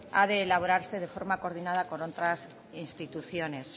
ha de elaborarse de forma coordinada con otras instituciones